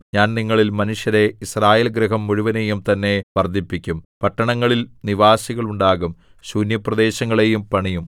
ഞാൻ നിങ്ങളിൽ മനുഷ്യരെ യിസ്രായേൽഗൃഹം മുഴുവനെയും തന്നെ വർദ്ധിപ്പിക്കും പട്ടണങ്ങളിൽ നിവാസികൾ ഉണ്ടാകും ശൂന്യപ്രദേശങ്ങളെയും പണിയും